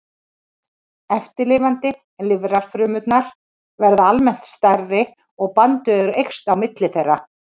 Eftirlifandi lifrarfrumurnar verða almennt stærri og bandvefur eykst á milli þeirra.